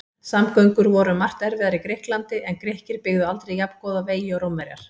Samgöngur voru um margt erfiðar í Grikklandi en Grikkir byggðu aldrei jafngóða vegi og Rómverjar.